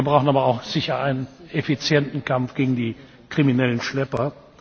Wir brauchen aber auch sicher einen effizienten Kampf gegen die kriminellen Schlepper.